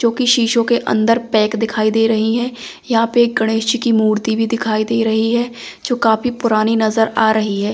जो कि शीशों के अंदर पैक दिखाई दे रही हैं यहां पे गणेश जी की मूर्ति भी दिखाई दे रही है जो काफी पुरानी नजर आ रही है।